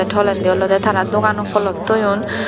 tolendi olodey tara doganot polot toyon.